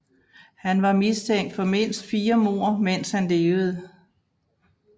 Han var mistænkt for mindst fire mord mens han levede